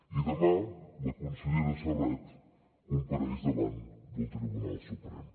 i demà la consellera serret compareix davant del tribunal suprem